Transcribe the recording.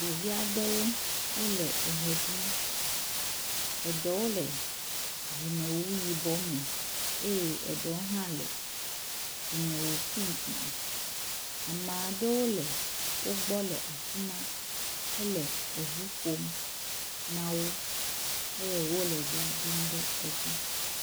Ɖevi aɖewo wole eɣe ɖum, eɖewo le dzimewu yibɔ me eye eɖewo hã le dzimewu pink me. Ameaɖ